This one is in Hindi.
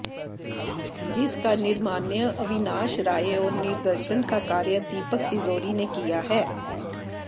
जिसका निर्माण अविनाश राय और निर्देशन का कार्य दीपक तिजोरी ने किया है